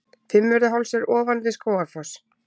Fimmvörðuháls er ofan við Skógafoss.